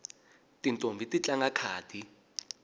tintombhi ti tlanga khadi